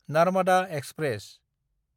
Narmada express